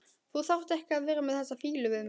Þú þarft ekki að vera með þessa fýlu við mig.